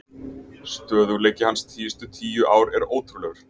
Stöðugleiki hans síðustu tíu ár er ótrúlegur.